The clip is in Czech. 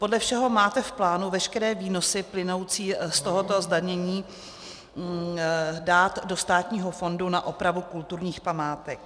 Podle všeho máte v plánu veškeré výnosy plynoucí z tohoto zdanění dát do státního fondu na opravu kulturních památek.